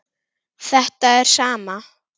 sem er sama og